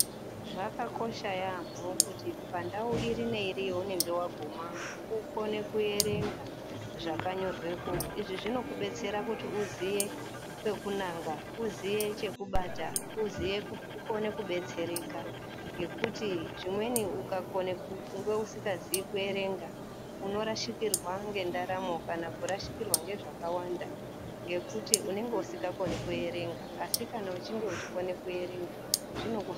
Zvakakosha yaamho kuti pandau ipi neipi yaunenge waguma ukone kuerenga zvakanyorwepo izvi zvinokudetsera kuti uziye pekunanga ,uziye chekubata, uziye kukone kubetsereka ngekuti zvimweni ukakone kunge uzingaziyi kuerenga unorashikirwa ngendaramo kana kurashikirwa ngezvakawanda ngekuti unonga usikakoni kuerenga asi kana uchinge uchikone kuerenga auneseki.